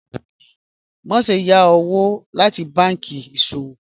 Maṣe yá owo lati bánkì iṣọwọ́